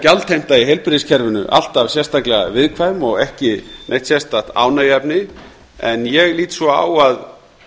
gjaldheimta í heilbrigðiskerfinu alltaf sérstaklega viðkvæm og ekki neitt sérstakt ánægjuefni en ég lít svo á að